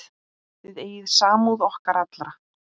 Þið eigið samúð okkar alla.